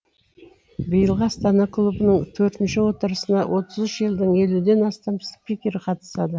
биылғы астана клубының төртінші отырысына отыз үш елдің елуден астам спикер қатысады